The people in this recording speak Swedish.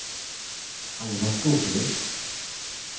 Alva Skoglund